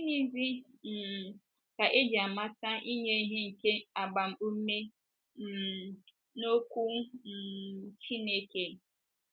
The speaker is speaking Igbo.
Gịnịzi um ka e ji amata inye ihe nke agbaume um n’okwu um Chineke?